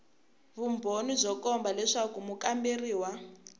vumbhoni byo komba leswaku mukamberiwa